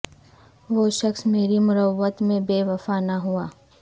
وہ شخص میری مروت میں بے وفا نہ ہوا